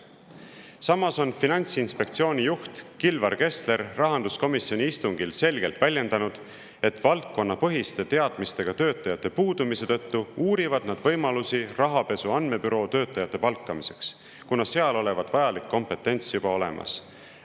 Samas on Finantsinspektsiooni juht Kilvar Kessler rahanduskomisjoni istungil selgelt väljendanud, et valdkonnapõhiste teadmistega töötajate puudumise tõttu uurivad nad võimalusi rahapesu andmebüroo töötajate palkamiseks, kuna seal olevat vajalik kompetents juba olemas.